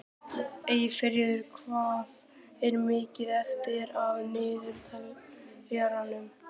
Eyfríður, hvað er mikið eftir af niðurteljaranum?